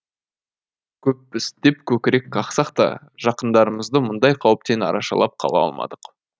көппіз деп көкірек қақсақ та жақындарымызды мұндай қауіптен арашалап қала алмадық